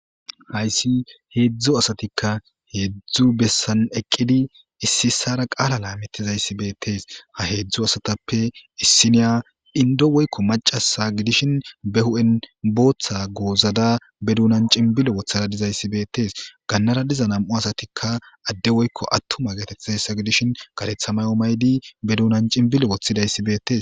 Hayssi heedzdzo asatikka heedzdzu bessan eqqidi issi issara qaala laamettizayssibeettees ha heedzdzu asatappe issiniya indo woykko macasa gidishin be hu'en booththa goozada be duunan cinbile wothadadizayssi beettees gannara diza nam'u asatikka adde woykko attuma getethizayssa gidishin garethamayo maydi be duunan cinbile woththidayssi beettes.